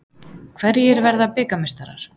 Hverjir verða bikarmeistarar?